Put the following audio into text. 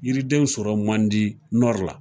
Yiridenw sɔrɔ man di la.